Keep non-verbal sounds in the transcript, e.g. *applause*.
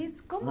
*unintelligible* como